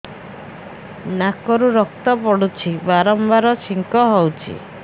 ନାକରୁ ରକ୍ତ ପଡୁଛି ବାରମ୍ବାର ଛିଙ୍କ ହଉଚି